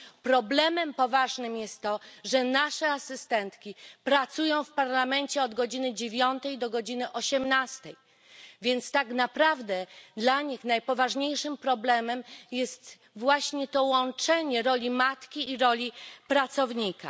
Problemem poważnym jest to, że nasze asystentki pracują w Parlamencie od godziny dziewiątej do godziny osiemnastej, więc tak naprawdę dla nich najpoważniejszym problemem jest właśnie to łączenie roli matki i roli pracownika.